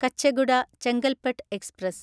Kacheguda Chengalpattu express